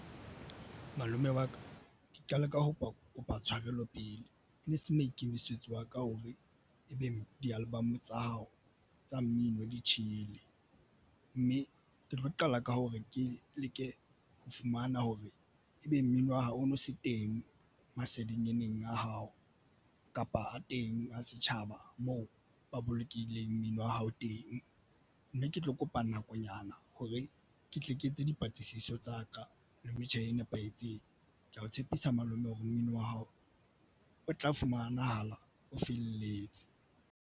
Malome wa ka ke qale ka ho kopa tshwarelo pele e ne se maikemisetso a ka o be ebeng. di-album tsa hao tsa mmino di tjhele, mme ke tlo qala ka hore ke leke ho fumana hore ebe mmino wa hao o no se teng masedinyaneng a hao, kapa a teng a setjhaba moo ba bolokehileng mmino wa hao teng, mme ke tlo kopa nakonyana hore ke tle ke etse dipatlisiso tsa ka le metjha e nepahetseng. Ke ya o tshepisa malome hore mmino wa hao o tla fumanahala o felletse.